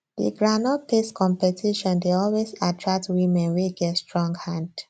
the groundnut paste competition dey always attract women wey get strong hand